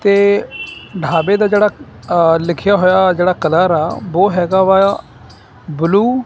ਤੇ ਢਾਬੇ ਦਾ ਜਿਹੜਾ ਅ ਲਿਖਿਆ ਹੋਇਆ ਜਿਹੜਾ ਕਲਰ ਆ ਬੋ ਹੈਗਾ ਵਾ ਯਾ ਬਲੂ --